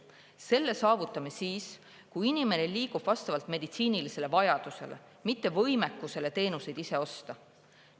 Selle saavutame siis, kui inimene liigub vastavalt meditsiinilisele vajadusele, mitte võimekusele teenuseid ise osta.